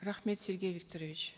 рахмет сергей викторович